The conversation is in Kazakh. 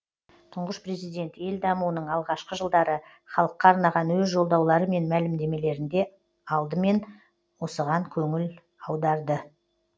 тұңғыш президент ел дамуының алғашқы жылдары халыққа арнаған өз жолдаулары мен мәлімдемелерінде алдымен осыған қөніл аударды